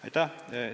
Aitäh!